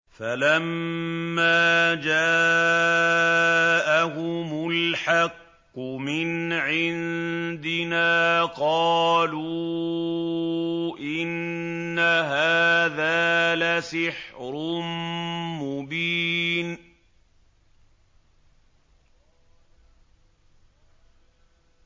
فَلَمَّا جَاءَهُمُ الْحَقُّ مِنْ عِندِنَا قَالُوا إِنَّ هَٰذَا لَسِحْرٌ مُّبِينٌ